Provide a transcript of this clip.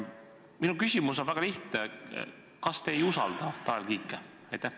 Minu küsimus on väga lihtne: kas te ei usalda Tanel Kiike?